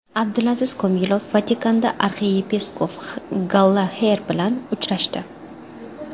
Abdulaziz Komilov Vatikanda arxiyepiskop Gallaxer bilan uchrashdi.